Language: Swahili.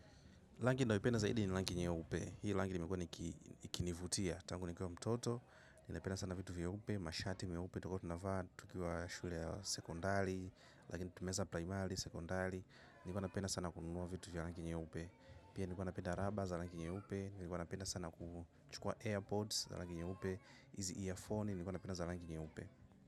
Langi nayopenda zaidi ni langi nyeupe. Hii langi nimekiwa ikinivutia. Tangu nikiwa mtoto. Nilipenda sana vitu vyeupe. Mashati meupe. Tulikuwa tunavaa tukiwa shule ya sekondari. Lakini tumeeza primary sekondari. Nilikuwa napenda sana kununua vitu vya langi nyeupe. Pia nilikuwa napenda raba za langi nyeupe. Nilikuwa napenda sana kuchukua airpods za langi nyeupe. Hizi earphone nilikuwa napenda za langi nyeupe.